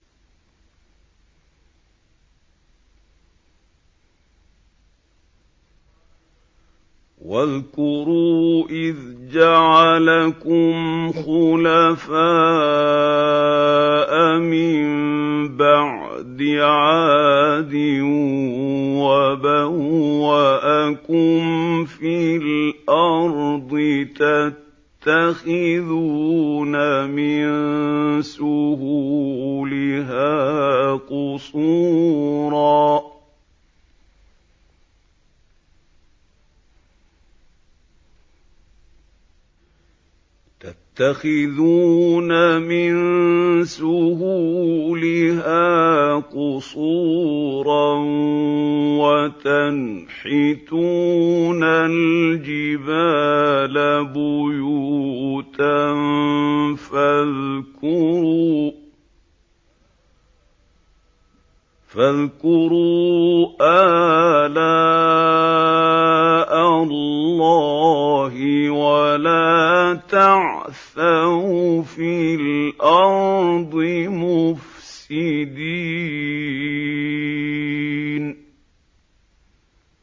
وَاذْكُرُوا إِذْ جَعَلَكُمْ خُلَفَاءَ مِن بَعْدِ عَادٍ وَبَوَّأَكُمْ فِي الْأَرْضِ تَتَّخِذُونَ مِن سُهُولِهَا قُصُورًا وَتَنْحِتُونَ الْجِبَالَ بُيُوتًا ۖ فَاذْكُرُوا آلَاءَ اللَّهِ وَلَا تَعْثَوْا فِي الْأَرْضِ مُفْسِدِينَ